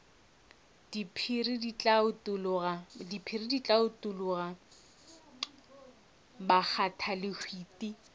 diphiri di tla utologa bakgathalehwiti